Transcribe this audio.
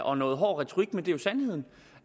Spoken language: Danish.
og en noget hård retorik men det er sandheden